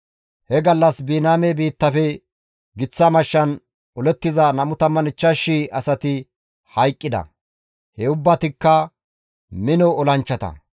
He gallas Biniyaame biittafe giththa mashshan olettiza 25,000 asati hayqqida; he ubbatikka mino olanchchata.